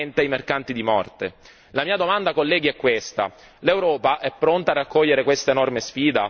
La mia domanda, colleghi, è questa l'Europa è pronta a raccogliere questa enorme sfida, e se sì, in che modo?